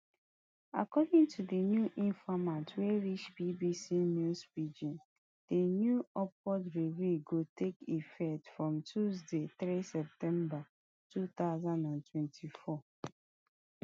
according to di new informate wey reach bbc news pidgin di new upward review go take effect from tuesday three september two thousand and twenty-four